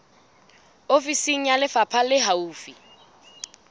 ofisi ya lefapha le haufi